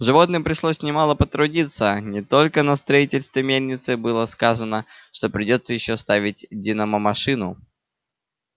животным пришлось немало потрудиться не только на строительстве мельницы было сказано что придётся ещё ставить динамомашину